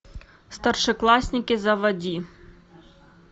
старшеклассники заводи